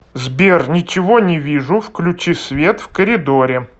сбер ничего не вижу включи свет в коридоре